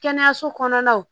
Kɛnɛyaso kɔnɔnaw